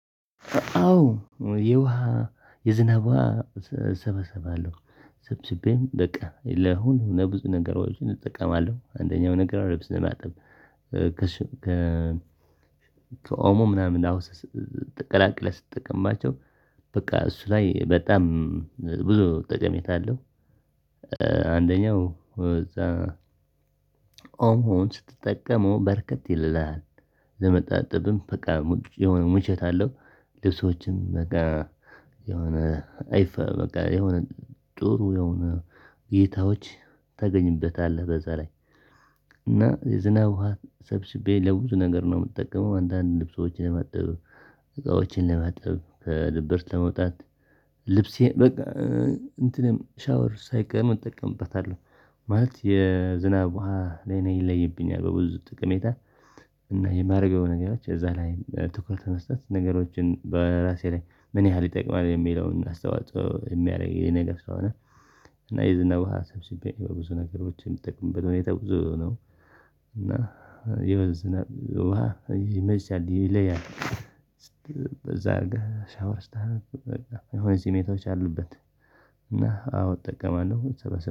አዎ የውሃ የዝናብ ውሃ እሰበስባለሁ ሰብስቤም በቃ ለሁሉም ለብዙ ነገሮችን እጠቀማለሁ አንደኛው ነገር ልብስ ለማጣብ ከኦሞ ምናምን ላውስ ቀላቅለህ ስትጠቀማቸው በቃ እሱ ላይ በጣም ብዙ ጠቀሜታ አለው። አንደኛው እዛ ኦሞውን ስትጠቀመው በርከት ይልልሃል ለመታጠብም በቃ የሆነ ሙቾት አለው ልብሶችም በቃ የሆነ አይፋ በቃ የሆነ ጦሩ የሆነ እይታዎች ታገኝበታለህ በዛ ላይ እና የዝናብ ውሃ ሰብስቤ ለብዙ ነገር ነው የምጠቀመው። አንዳንድ ልብሶችን ለማጠብ እቃዎችን ለማጠብ ከድብርት ለመውጣት ልብሴ በቃ እንትንም ሻወር ሳይቀር መጠቀምበታለሁ። ማለት የዝናብ ውሃ ላይ ነው ይለይብኛል በብዙ ጥቅሜታ እና የማደርገው ነገሮች እዛ ላይ ትኩረት መስጠት ነገሮችን በራሴ ላይ ምን ያህል ይጠቅማል የሚለውን አስተዋጽኦ የሚያረግልኝ ነገር ስለሆነ። እና የዝና ውሃ ሰብስቤ ብዙ ነገሮች የምጠቀምበት ሁኔታ ብዙ ነው እና የዝናብ ውሃ ይመቻል ይለያል። በዛ ሻወር ስታርግ በቃ የሆነ ሲሜቶች አሉበት እና አዎ እጠቀማለሁ።